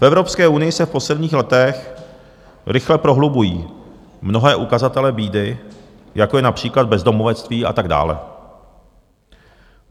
V Evropské unii se v posledních letech rychle prohlubují mnohé ukazatele bídy, jako je například bezdomovectví a tak dále.